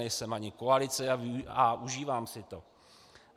Nejsem ani koalice a užívám si to.